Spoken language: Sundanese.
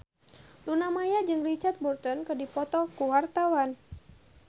Luna Maya jeung Richard Burton keur dipoto ku wartawan